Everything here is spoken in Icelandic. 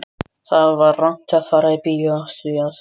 Það var rangt að fara í bíó af því að